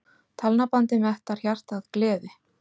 Talnabandið mettar hjartað gleði.